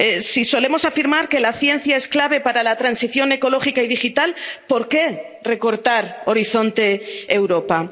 Si solemos afirmar que la ciencia es clave para la transición ecológica y digital, ¿por qué recortar Horizonte Europa?